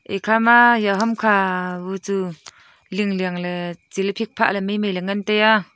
ekhama eya hamkha bu chu lingliang ley tsiley phikphah ley maimai ley ngan taiya.